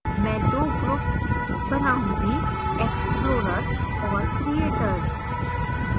मैं 2 ग्रुप्स बनाउंगीexplorers और creators